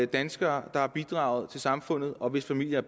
danskere der har bidraget til samfundet og hvis familier